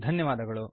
ಧನ್ಯವಾದಗಳು